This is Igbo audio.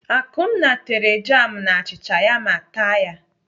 Akunna tere jam na achịcha ya ma taa ya.